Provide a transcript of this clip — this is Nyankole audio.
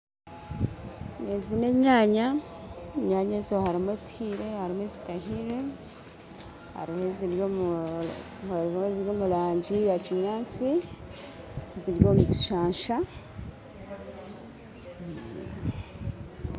Ezi n'enyaanya kandi harimu ezihire n'ezitahire, hariho eziri omu rangi yakinyaatsi ziri omu bishaasha